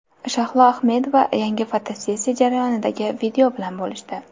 Shahlo Ahmedova yangi fotosessiya jarayonidagi video bilan bo‘lishdi.